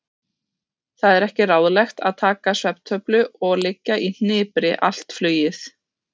Það er ekki ráðlegt að taka svefntöflu og liggja í hnipri allt flugið.